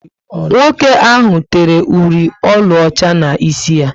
Nwoke ahụ tere ụli ọlaọcha n'isi ya